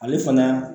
Ale fana